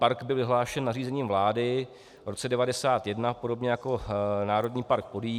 Park byl vyhlášen nařízením vlády v roce 1991 podobně jako Národní park Podyjí.